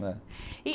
e